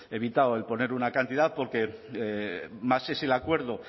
evitado el poner una cantidad porque más es el acuerdo